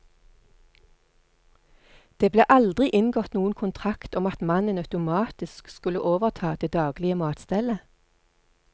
Det ble aldri inngått noen kontrakt om at mannen automatisk skulle overta det daglige matstellet.